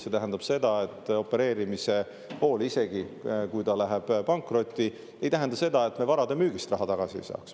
See tähendab, et isegi kui opereerimise pool läheb pankrotti, ei tähenda see seda, et me varade müügist raha tagasi ei saaks.